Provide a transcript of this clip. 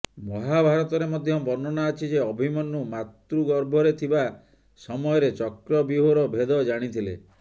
ମହାଭାରତରେ ମଧ୍ୟ ବର୍ଣ୍ଣନା ଅଛି ଯେ ଅଭିମନ୍ୟୁ ମାତୃଗର୍ଭରେ ଥିବା ସମୟରେ ଚକ୍ରବ୍ୟୂହର ଭେଦ ଜାଣିଥିଲେ